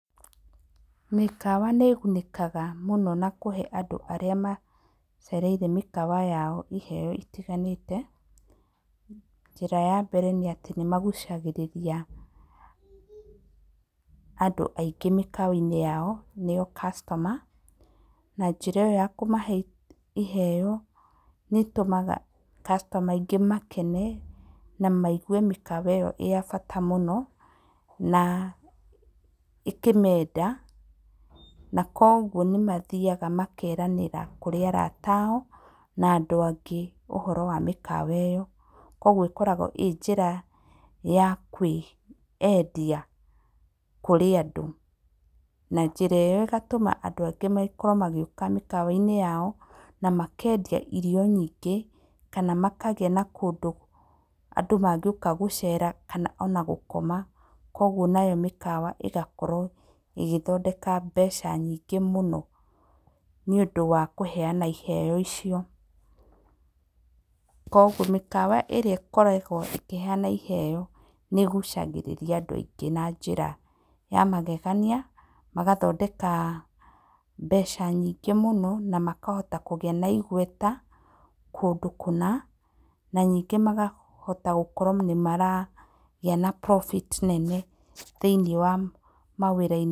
Mĩkawa nĩ ĩgunĩkaga mũno na kũhe andũ arĩa macereire mĩkawa yao iheyo itiganĩte. Njĩra ya mbere nĩ atĩ nĩ magucagĩrĩria andũ aingĩ mĩkawa-inĩ yao nĩo customer. Na njĩra ĩyo ya kũmahe iheyo nĩ ĩtũmaga customer aingĩ makene, na maigwe mĩkawa ĩyo ĩyatabata mũno, na ĩkĩmenda, na koguo nĩmathiaga makeranĩra kũrĩ arata ao, na andũ angĩ ũhoro wa mĩkawa ĩyo. Koguo ĩkoragwo ĩ njĩra ya kwĩendia kũrĩ andũ. Na njĩra ĩyo ĩgatũma andũ angĩ makorwo magĩũka mĩkawa-inĩ yao na makendia irio nyingĩ, kana makagĩa na kũndũ andũ mangĩũka gũcera kana ona gũkoma. Kwoguo nayo mĩkawa ĩgakorwo ĩgĩthondeka mbeca nyingĩ mũno nĩũndũ wa kũheyana iheyo icio. Kwoguo mĩkawa ĩrĩa ĩkoragwo ĩkĩheyana iheyo nĩ ĩgucagĩrĩria andũ aingĩ na njĩra ya magegania, magathondeka mbeca nyingĩ mũno na makahota kũgĩa na igweta kũndũ kũna, na ningĩ makahota gũkorwo nĩmaragĩa na profit nene thĩinĩ wa mawĩra-inĩ